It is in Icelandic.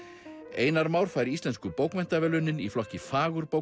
einar Már fær Íslensku bókmenntaverðlaunin í flokki fagurbókmennta